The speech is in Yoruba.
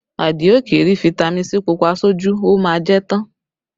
Adio kì í rí fitami sii Pupa sójú, ó má a jẹ́ tán